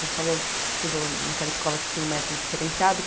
Você falou que estudou naquela escola que tinha um método diferenciado.